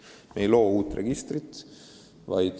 Me ei loo uut registrit.